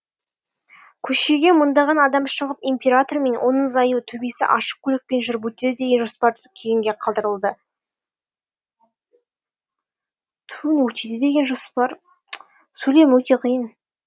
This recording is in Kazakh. көшеге мыңдаған адам шығып император мен оның зайыбы төбесі ашық көлікпен жүріп өтеді деген жоспар кейінге қалдырылды